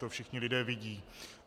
To všichni lidé vidí.